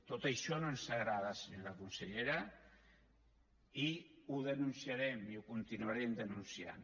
tot això no ens agrada senyora consellera i ho denunciarem i ho continuarem denunciant